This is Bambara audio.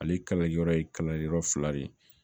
Ale kala yɔrɔ ye kalali yɔrɔ fila de ye